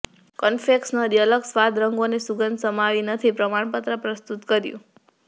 confectionery અલગ સ્વાદ રંગોનો અને સુગંધ સમાવી નથી પ્રમાણપત્ર પ્રસ્તુત કર્યું